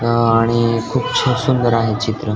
अ अणि खुप छ सुंदर आहे चित्र.